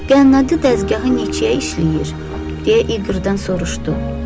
Qənnadı dəzgahı necə işləyir, deyə İqırdan soruşdu.